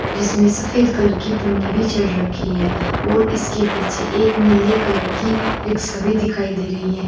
जिसमें सफेद कलर की पन्नी भी चढ़ रखी है और इसके पीछे एक नीले कलर की रिक्शा भी दिखाई दे रही है।